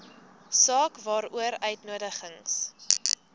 saak waaroor uitnodigings